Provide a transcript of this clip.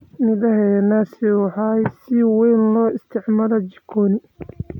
Midhaha ee naasi waxay si weyn loo isticmaalaa jikoni.